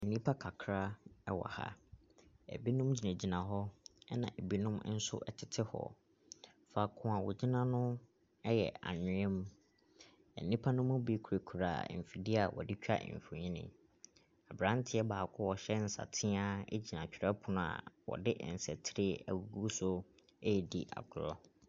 Nipa kakra ɛwɔ ha na ebinom egyinagyina hɔ ɛna ebinom nso ɛtete hɔ. Faako a ogyina no ɛyɛ anwia mu. Ɛnipa no mu bi kurakura mfidie a wɔde twa mfonin. Abranteɛ baako ɔhyɛ nsateaa egyina twerɛpono a wɔde nsa tire egugu so edi agorɔ.